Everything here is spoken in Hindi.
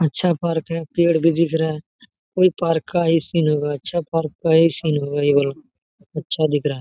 अच्छा पार्क है पेड़ भी दिख रहा है कोई पार्क का ये सीन होगा अच्छा पार् का ए सीन होगा ये वाला अच्छा दिख रहा है।